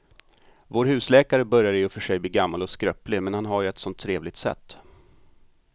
Vår husläkare börjar i och för sig bli gammal och skröplig, men han har ju ett sådant trevligt sätt!